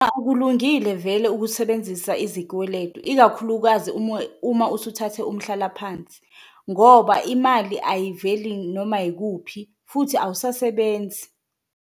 Akulungile vele ukusebenzisa izikweletu ikakhulukazi uma usuthathe umhlalaphansi ngoba imali ayiveli noma yikuphi futhi awusasebenzi.